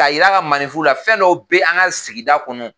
Ka jir'a ka maaninfinw na fɛn dɔ bɛ an ka sigida kɔnɔ